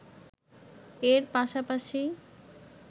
এর পাশাপাশি